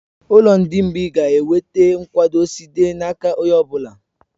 Ụlọ ndị mgbịị ga-enweta nkwado site n'aka onye ọ bụla